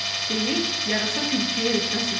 deyib yarasa tülküyə etiraz etdi.